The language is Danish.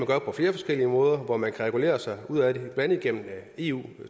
gøre på flere forskellige måder hvor man kan regulere sig ud af det blandt andet igennem eu